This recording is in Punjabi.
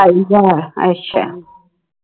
ਸਤਾਈ ਹਜ਼ਾਰ ਅੱਛਾ